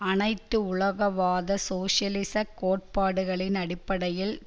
அனைத்துலகவாத சோசியலிச கோட்பாடுகளின் அடிப்படையில்